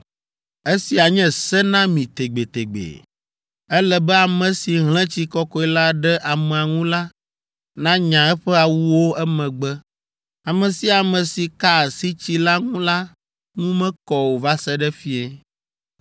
Esia nye se na mi tegbetegbe. Ele be ame si hlẽ tsi kɔkɔe la ɖe amea ŋu la nanya eƒe awuwo emegbe. Ame sia ame si ka asi tsi la ŋu la ŋu mekɔ o va se ɖe fiẽ.